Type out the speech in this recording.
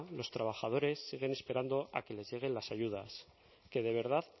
los trabajadores siguen esperando a que les lleguen las ayudas que de verdad